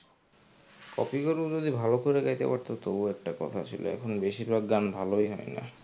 copy করেও যদি ভালো করে গাইতে পারতো তবুও একটা কথা ছিল এখন বেশির ভাগ গান ভালোই হয় না.